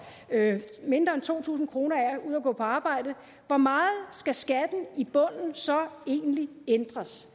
mindre end to tusind kroner ud af at gå på arbejde hvor meget skal skatten i bunden så egentlig ændres